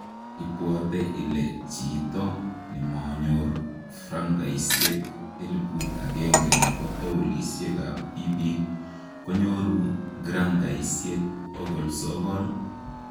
Ipwote ile chito nemoyor frangaisiek elibut agenge nebo tooguloisiek ab tiibik konyoru grangaisiek bogol sogol?